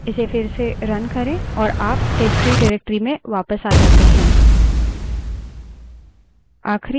इसे फिर से run करे और आप testtree directory में वापस आ जाते हैं